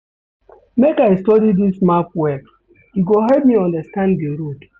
Make I study dis map well, e go help me understand di road.